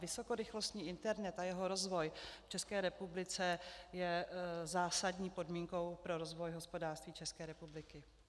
Vysokorychlostní internet a jeho rozvoj v České republice je zásadní podmínkou pro rozvoj hospodářství České republiky.